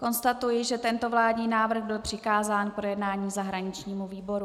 Konstatují, že tento vládní návrh byl přikázán k projednání zahraničnímu výboru.